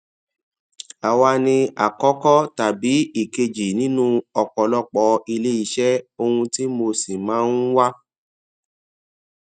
àwa ni àkọkọ tàbí ìkejì nínú ọpọlọpọ ilé iṣé ohun tí mo sì máa ń wá